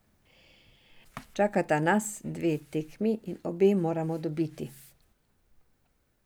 Čakata nas dve tekmi in obe moramo dobiti.